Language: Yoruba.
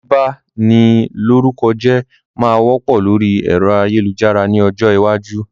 Bíba ni lórúkọ jẹ́ máa wọ́pọ̀ lórí ẹ̀rọ ayélujára ni ọjọ́ iwájú